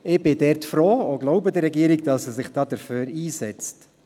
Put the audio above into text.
Ich glaube, es geht ihr gut.